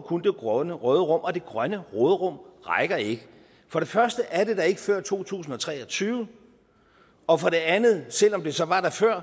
kun det grønne råderum og det grønne råderum rækker ikke for det første er det der ikke før to tusind og tre og tyve og for det andet selv om det så var der før